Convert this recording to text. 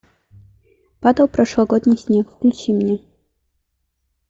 падал прошлогодний снег включи мне